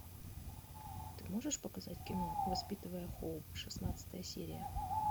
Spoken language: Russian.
ты можешь показать кино воспитывая хоуп шестнадцатая серия